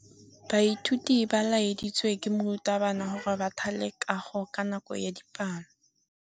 Baithuti ba laeditswe ke morutabana gore ba thale kagô ka nako ya dipalô.